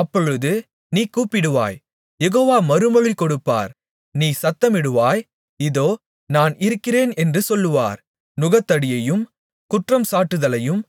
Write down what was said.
அப்பொழுது நீ கூப்பிடுவாய் யெகோவா மறுமொழி கொடுப்பார் நீ சத்தமிடுவாய் இதோ நான் இருக்கிறேன் என்று சொல்வார் நுகத்தடியையும் குற்றம்சாட்டுதலையும்